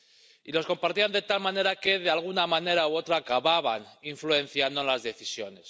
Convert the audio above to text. Y los compartían de tal manera que, de alguna manera u otra, acababan influenciando las decisiones.